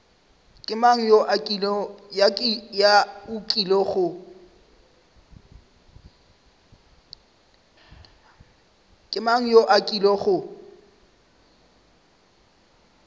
ke mang yo a kilego